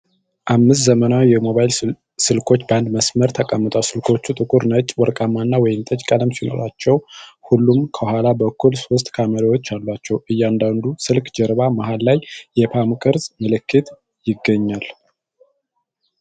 አምስት ዘመናዊ ሞባይል ስልኮች በአንድ መስመር ተቀምጠዋል። ስልኮቹ ጥቁር፣ ነጭ፣ ወርቃማ እና ወይንጠጅ ቀለም ሲኖራቸው፣ ሁሉም ከኋላ በኩል ሦስት ካሜራዎች አሏቸው። የእያንዳንዱ ስልክ ጀርባ መሃል ላይ የፖም ቅርጽ ምልክት ይገኛል።